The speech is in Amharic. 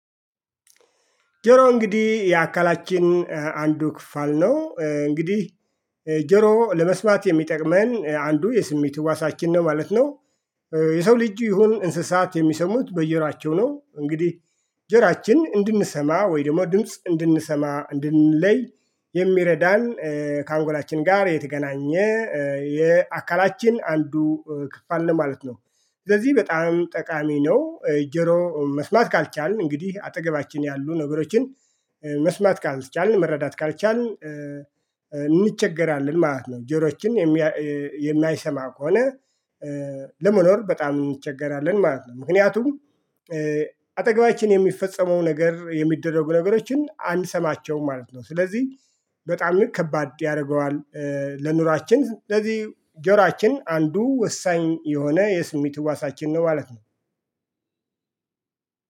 ጆሮ እንግዲህ የአካላችን አንዱ ክፍል ነው እንግዲህ ጆሮ ለመስማት የሚጠቅመን አንዱ የስሜት እዋሳችን ነው ማለት ነው። የሰው ልጅ ይሁን እንስሳት የሚሰሙት በጅሮአቸው ነው እንግዲህ። ጆሮአችን እንድንሰማ ወይ ደግሞ ድምጽ እንድንሰማ እንድንለይ የሚረዳን ከአንጎላችን ጋር የተገናኘ የአካላችን አንዱ ክፍል ነው ማለት ነው። ስለዚህ በጣም ጠቃሚ ነው ጆሮ መስማት ካልቻልን እንግዲህ አጠገባችን ያሉ ነገሮችን መስማት ካልቻልን መረዳት ካልቻልን እንቸገራለን ማለት ነው። ጆሮአችን የማይሰማ ከሆነ ለመኖር በጣም እንቸገራለን ማለት ነው። ምክንያቱም አጠገባችን የሚፈጸመው ነገር የሚደረጉ ነገሮችን አንሰማቸውም ማለት ነው። ስለዚህ በጣም ልክ ከባድ ያደርገዋል። ለኑሯችን ስለዚህ ጆሮአችን አንዱ ወሳኝ የሆነ የስሜ እዋሳችን ነው ማለት ነው።